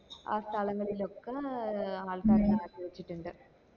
ആ സ്ഥലങ്ങളിലൊക്കെ ആൾക്കാരെ മാറ്റി വച്ചിട്ടിണ്ട്